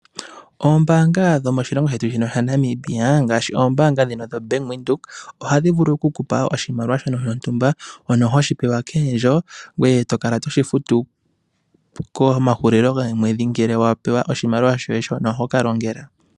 Oombaanga dhomoshilongo shetu shino shaNamibia ngaashi oombaanga ndhino dho Bank Windhoek, ohadhi vulu okukupa oshimaliwa shontumba shono hoshi pewa koondjo, ngoye tokala toshi futu komahulilo gomwedhi ngele wapewa oshimaliwa shoye shono hokalongela.